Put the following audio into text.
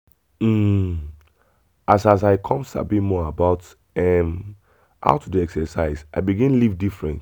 um as as i come sabi more about um how to dey exercise i begin live different.